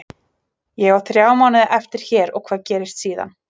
Ég á þrjá mánuði eftir hér og hvað gerist síðan?